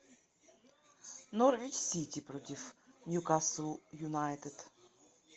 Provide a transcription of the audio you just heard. норвич сити против ньюкасл юнайтед